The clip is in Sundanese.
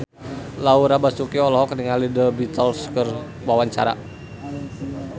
Laura Basuki olohok ningali The Beatles keur diwawancara